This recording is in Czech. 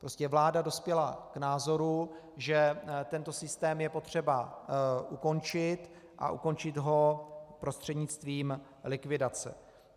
Prostě vláda dospěla k názoru, že tento systém je potřeba ukončit, a ukončit ho prostřednictvím likvidace.